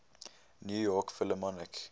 new york philharmonic